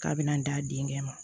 K'a bɛna d'a denkɛ ma